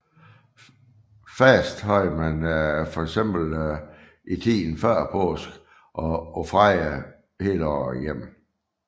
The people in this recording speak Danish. Faste havde man for eksempel i tiden før påske og på fredage hele året igennem